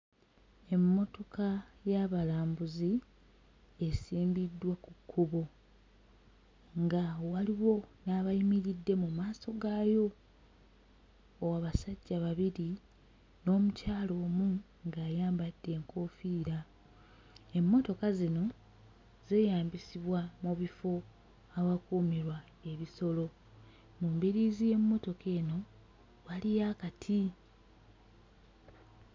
Emmotoka y'abalambuzi esimbiddwa ku kkubo nga waliwo n'abayimiridde mu maaso gaayo o abasajja bairi n'omukyala omu ng'ayambadde enkoofiira. Emmotoka zino zeeyambisibwa mu bifo awakuumirwa ebisolo mu mbiriizi y'emmotoka eno waliyo akati.